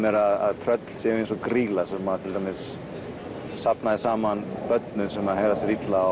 er að tröll séu eins og grýla sem til dæmis safnaði saman börnum sem hegðuðu sér illa